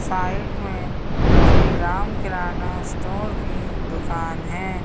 Side में Shri Ram Kirana store की दुकान है।